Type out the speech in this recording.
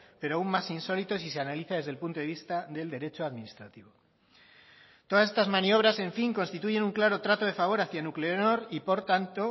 pero aún más insólito si se analiza desde el punto de vista del derecho administrativo todas estas maniobras en fin constituyen un claro trato de favor hacia nuclenor y por tanto